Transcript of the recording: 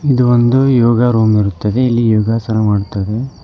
ಇದು ಒಂದು ಯೋಗ ರೂಮ್ ಇರುತ್ತದೆ ಇಲ್ಲಿ ಯೋಗಾಸನ ಮಾಡ್ತಾರೆ.